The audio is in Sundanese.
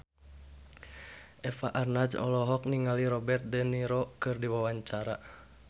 Eva Arnaz olohok ningali Robert de Niro keur diwawancara